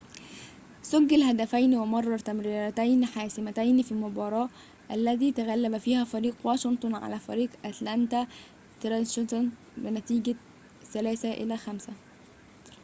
سجّل هدفين ومرر تمريرتين حاسمتين في المباراة التي تغلّب فيها فريق واشنطن على فريق أتلانتا ثراشرز بنتيجة 5-3